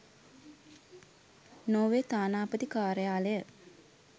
Norway තානාපති කාර්යාලය